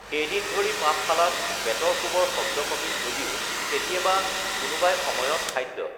সেইদিন ধৰি পাঠশালাত বেতৰ কোবৰ শব্দ কমিল যদিও কেতিয়াবা কোনোবাই সময়ত খাদ্য